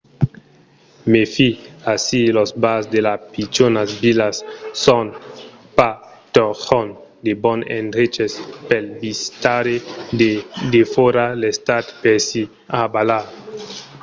mèfi: aicí los bars de las pichonas vilas son pas totjorn de bons endreches pel visitaire de defòra l'estat per s'i rabalar